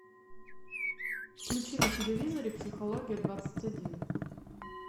включи на телевизоре психология двадцать один